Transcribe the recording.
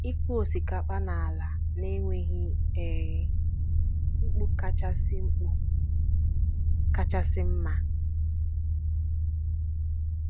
ịkụ osikapa n'ala na-enweghi um mkpu kachasị mkpu kachasị mma